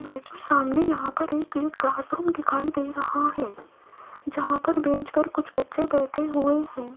Image में सामने यहां पर एक क्लासरूम दिखाई दे रहा है जहां पर बेंच पर कुछ बच्चे बैठे हुए हैं।